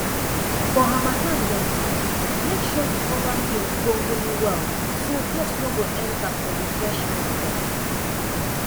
for harmattan dem time make sure you cover milk gongoni well so dust no go enter for the fresh milk dem